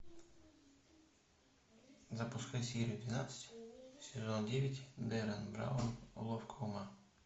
запускай серию двенадцать сезон девять деррен браун уловка ума